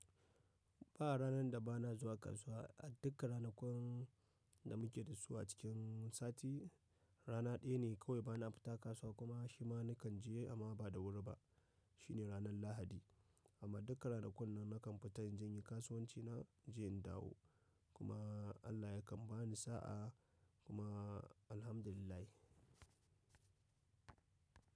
Ba ranan da ba na zuwa kasuwa. A dukkan ranakun da muke dasu a sati, rana daya ne kawai bana fita kasuwa kuma shima nakan je amma ba da wuri ba shi ne ranar Lahadi. Amma dukkan ranakun nan na kan fita in je in yi kasuwanci na, in je in dawo. Kuma Allah ya kan ba ni sa’a kuma alhamdulillah.